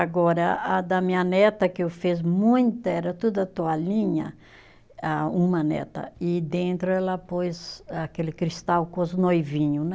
Agora, a da minha neta, que eu fiz muita, era toda toalhinha, ah uma neta, e dentro ela pôs aquele cristal com os noivinho, né?